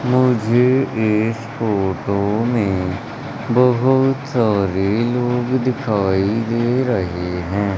मुझे इस फोटो में बहुत सारे लोग दिखाई दे रहे हैं।